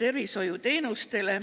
tervishoiuteenustega.